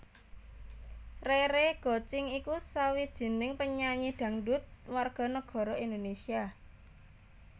Rere Gocing iku sawijining penyanyi dangdut warga negara Indonésia